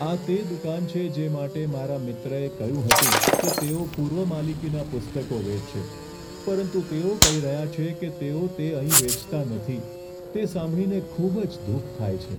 આ તે દુકાન છે જે માટે મારા મિત્રએ કહ્યું હતું કે તેઓ પૂર્વ માલિકીનાં પુસ્તકો વેચશે, પરંતુ તેઓ કહી રહ્યા છે કે તેઓ તે અહીં વેચતા નથી. તે સાંભળીને ખૂબ જ દુઃખ થાય છે.